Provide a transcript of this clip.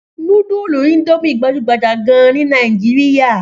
Núdúlù Indomie gbajú-gbajà gan-an ní Nàìjíríà.